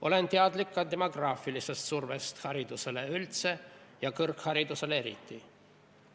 Olen teadlik ka demograafilisest survest haridusele üldse ja kõrgharidusele eriti.